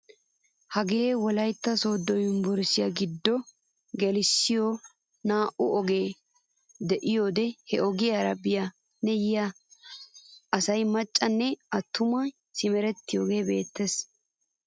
Hagee wollaytta sooddo yunburushiyaa gidiyoode geliyoosay naa"u ogee diyoode he ogiyaara biyaa nne yiyaa asay maccay nne attumay simerettiyoogee beettees.